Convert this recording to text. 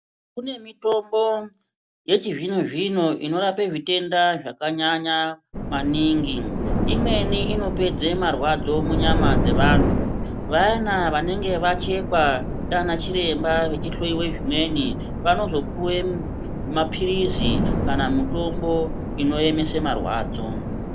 Kune mitombo yechizvino zvino inorape zvitenda zvakanyanya maningi. Imweni inopedze marwadzo munyama dzevantu. Vayani vanenge vachekwa ndiana chiremba vachihloyiwa zvimweni vanofana kuzopuwa mapilizi kana mutombo inoemese marwadzo.